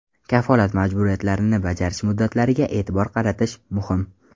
Kafolat majburiyatlarini bajarish muddatlariga e’tibor qaratish muhim.